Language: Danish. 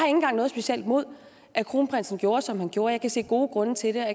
engang noget specielt imod at kronprinsen gjorde som han gjorde jeg kan se gode grunde til det og